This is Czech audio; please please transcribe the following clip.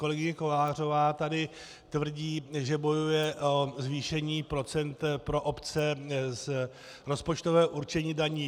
Kolegyně Kolářová tady tvrdí, že bojuje o zvýšení procent pro obce z rozpočtového určení daní.